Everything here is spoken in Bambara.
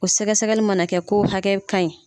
O sɛgɛsɛgɛli mana kɛ ko hakɛkan ɲi.